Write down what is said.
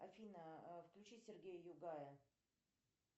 афина включи сергея югая